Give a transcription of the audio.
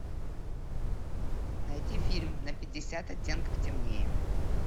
найти фильм на пятьдесят оттенков темнее